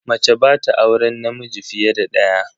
Mace ba ta auren namiji fiye da daya.